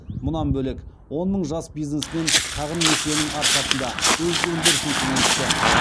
мұнан бөлек он мың жас бизнесмен шағын несиенің арқасында өз өндірісін кеңейтті